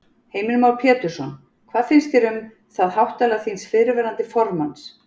Heimir Már Pétursson: Hvað finnst þér um það háttalag þíns fyrrverandi formanns?